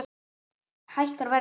Hækkar verðið þá?